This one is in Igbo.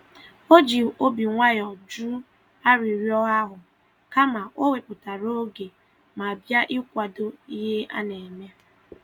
O ji obi nwayọ jụ arịrịọ ahụ, kama o wepụtara oge ma bịa ikwado ihe a na-eme.